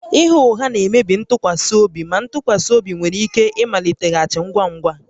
Ịgha ụgha na-emebi ntụkwasị obi na ntụkwasị obi nwere ike ịmaliteghachi ngwa ngwa